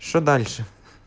что дальше